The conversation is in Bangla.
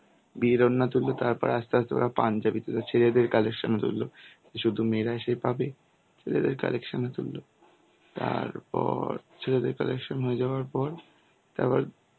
বিয়ের ওড়না তুললো তারপর আস্তে আস্তে ওরা পাঞ্জাবিতে ছেলেদের collection ধরলো, শুধু মেয়েরাই সেই পাবে ছেলেদের collection এ তুলল. তারপর ছেলেদের collection হয়ে যাওয়ার পর তারপর